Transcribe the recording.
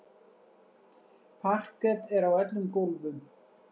Parket er á öllum gólfum.